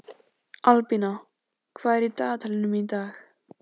Albína, hvað er í dagatalinu í dag?